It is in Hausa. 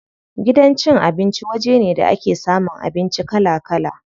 Gidan cin abinci waje ne da ake samun abinci kala kala.